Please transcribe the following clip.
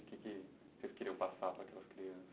O que vocês queriam passar para aquelas crianças?